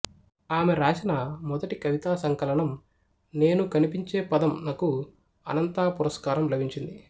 ఆమె రాసిన మొదటి కవితా సంకలనం నేను కనిపించే పదం నకు అనంతా పురస్కారం లభించింది